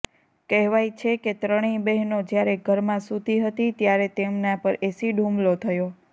કહેવાય છે કે ત્રણેય બહેનો જ્યારે ઘરમાં સૂતી હતી ત્યારે તેમના પર એસિડ હુમલો થયો